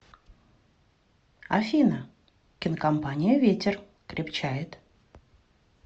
афина кинокомпания ветер крепчает